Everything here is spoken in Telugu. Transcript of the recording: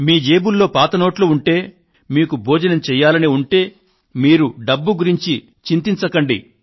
మీ జేబుల్లో పాత నోట్లు ఉంటే మీకు భోజనం చేయాలని ఉంటే మీరు డబ్బు గురించి చింతించకండి